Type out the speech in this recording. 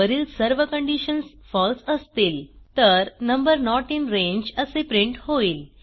वरील सर्व कंडिशन्स फळसे असतील तर नंबर नोट इन रांगे असे प्रिंट होईल